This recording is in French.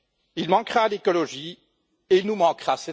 Il manquera à l'écologie et il nous manquera.